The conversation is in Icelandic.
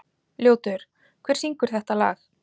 Ljótur, hver syngur þetta lag?